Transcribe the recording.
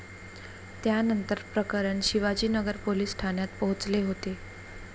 त्यानंतर प्रकरण शिवाजीनगर पोलीस ठाण्यात पोहचले होते.